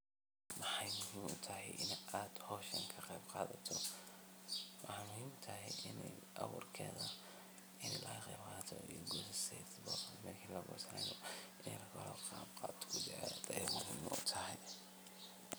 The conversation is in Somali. maxey muhiim u tahay inaad hawshaan ka qeyb qaadato? waxey muhiim u tahay inaad ka qeyb qaadato abuurkeeda iyo soo baxeeda